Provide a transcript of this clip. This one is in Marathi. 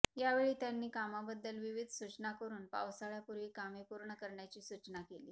यावेळी त्यांनी कामांबददल विविध सूचना करुन पावसाळयापूर्वी कामे पूर्ण करण्याची सूचना केली